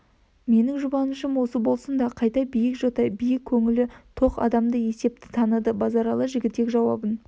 менің жүбанышым осы болсында қайта биік жота биік көңілі тоқ адам есепті таныды базаралы жігітек жауабын